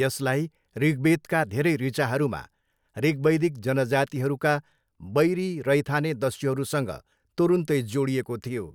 यसलाई ऋग्वेदका धेरै ऋचाहरूमा ऋग्वैदिक जनजातिहरूका वैरी रैथाने दस्युहरूसँग तुरुन्तै जोडिएको थियो।